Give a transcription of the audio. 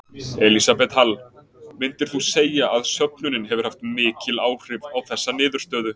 Elísabet Hall: Myndir þú segja að söfnunin hefur haft mikil áhrif á þessa niðurstöðu?